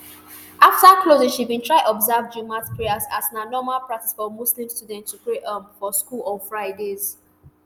afta closing she bin try observe jumat prayers as na normal practice for muslim students to pray um for school on fridays